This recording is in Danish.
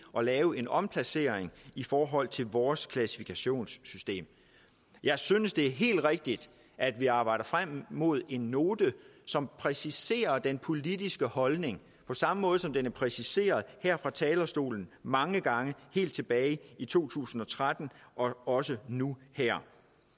at lave en omplacering i forhold til vores klassifikationssystem jeg synes at det er helt rigtigt at vi arbejder frem mod en note som præciserer den politiske holdning på samme måde som den er præciseret her fra talerstolen mange gange helt tilbage i to tusind og tretten og også nu her